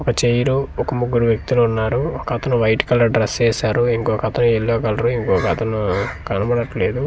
ఒక చైరు ఒక ముగ్గురు వ్యక్తులు ఉన్నారు ఒక అతను వైట్ కలర్ డ్రెస్ వేశారు ఇంకొకతను యెల్లో కలర్ ఇంకొకతను కనపడట్లేదు.